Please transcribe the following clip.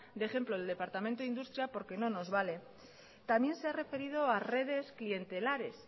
de ejemplo el departamento de industria porque no nos vale también se ha referido a redes clientelares